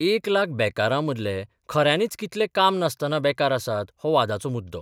एक लाख बेकारांमदले खऱ्यांनीच कितले काम नासतना बेकार आसात हो वादाचो मुद्दो.